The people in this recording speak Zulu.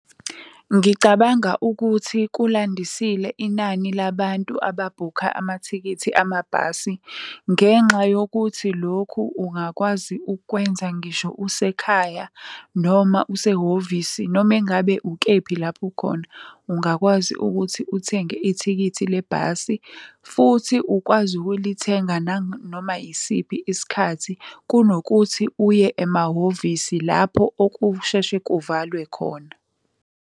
Ngicabanga ukuthi kulandisile inani labantu ababhukha amathikithi amabhasi ngenxa yokuthi lokhu ungakwazi ukukwenza ngisho usekhaya, noma usehhovisi noma engabe ukephi lapho ukhona ungakwazi ukuthi uthenge ithikithi le bhasi. Futhi ukwazi ukulithenga nanoma yisiphi isikhathi, kunokuthi uye emahhovisi lapho okushesha kuvalwe khona.